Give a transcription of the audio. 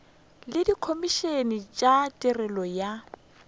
le dikhomišene tša tirelo ya